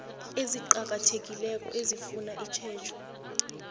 eziqakathekileko ezifuna itjhejo